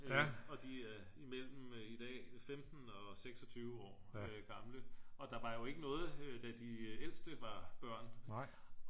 og de er imellem i dag 15 og 26 år gamle og der var jo ikke noget da de ældste var børn